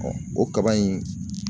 o kaba in